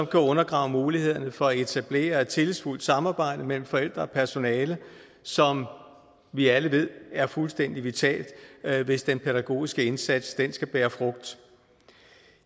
kan undergrave mulighederne for at etablere et tillidsfuldt samarbejde mellem forældre og personale som vi alle ved er fuldstændig vitalt hvis den pædagogiske indsats skal bære frugt